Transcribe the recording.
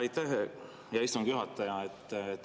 Aitäh, hea istungi juhataja!